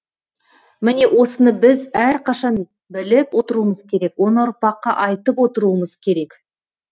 міне осыны біз әрқашан біліп отыруымыз керек оны ұрпаққа айтып отыруымыз керек